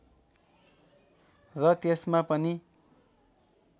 र त्यसमा पनि